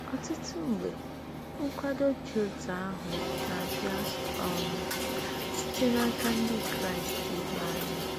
Ọtụtụ mgbe, nkwado dị otú ahụ na-abịa um site n'aka Ndị Kraịst ibe anyị.